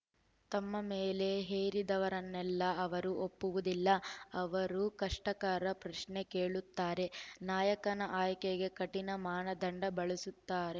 ತಮ್ಮ ಮೇಲೆ ಹೇರಿದವರನ್ನೆಲ್ಲ ಅವರು ಒಪ್ಪುವುದಿಲ್ಲ ಅವರು ಕಷ್ಟಕರ ಪ್ರಶ್ನೆ ಕೇಳುತ್ತಾರೆ ನಾಯಕನ ಆಯ್ಕೆಗೆ ಕಠಿಣ ಮಾನದಂಡ ಬಳಸುತ್ತಾರೆ